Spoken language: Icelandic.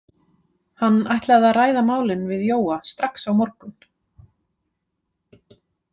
Hann ætlaði að ræða málin við Jóa strax á morgun.